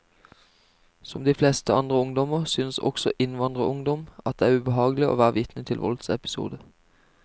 Som de fleste andre ungdommer synes også innvandrerungdom at det er ubehagelig å være vitne til voldsepisoder.